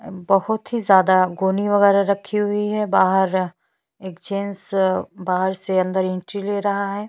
और अ गोडाउन के बाहर बहोत ही बड़ा स्पेस है बहोत ही अच्छा लग रहा है।